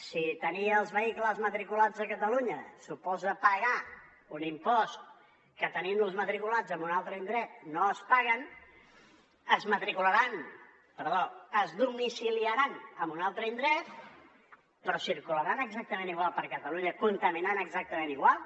si tenir els vehicles matriculats a catalunya suposa pagar un impost que tenint los matriculats en un altre indret no es paga es domiciliaran en un altre indret però circularan exactament igual per catalunya contaminant exactament igual